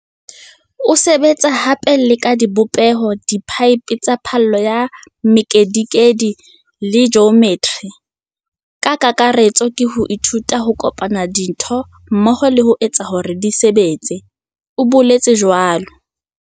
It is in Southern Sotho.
Ke sebetsa hape le ka dibopeho, diphaephe tsa phallo ya mekedikedi le ji ometri. Ka kakaretso ke ho ithuta ho kopanya dintho mmoho le ho etsa hore di sebetse, o boletse jwalo.